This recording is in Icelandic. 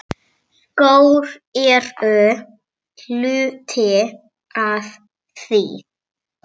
Kveðja, Eyrún Guðna.